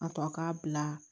A tɔ k'a bila